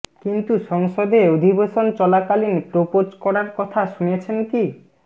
কিন্তু সংসদে অধিবেশন চলাকালীন প্রোপোজ করার কথা শুনেছেন কি